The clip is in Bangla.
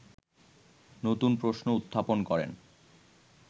নতুন প্রশ্ন উত্থাপন করেন